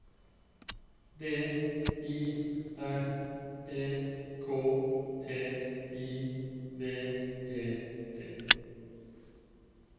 D I R E K T I V E T